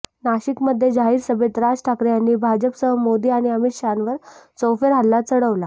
नाशिकमध्ये जाहीर सभेत राज ठाकरे यांनी भाजपसह मोदी आणि अमित शहांवर चौफेर हल्ला चढवला